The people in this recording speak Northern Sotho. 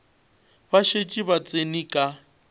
ba šetše ba tsene ka